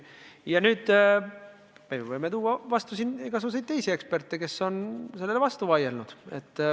Ja me võime vastu panna teisi eksperte, kes on sellele vastu vaielnud.